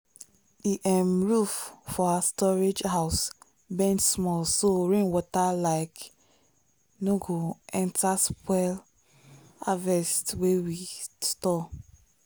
the um roof for our storage house bend small so rain water like no go enter spoil harvest wey we store.